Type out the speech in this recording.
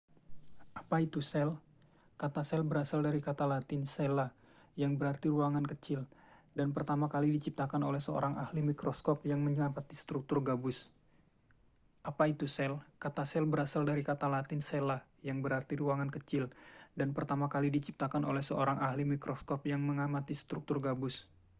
apa itu sel kata sel berasal dari kata latin cella yang berarti ruangan kecil dan pertama kali diciptakan oleh seorang ahli mikroskop yang mengamati struktur gabus